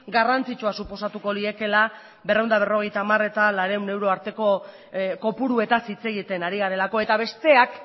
garrantzitsua suposatuko liekeela berrehun eta berrogeita hamar eta laurehun euro arteko kopuruetaz hitz egiten ari garelako eta besteak